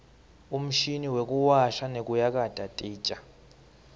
umshini wekuwasha nekuyakata titja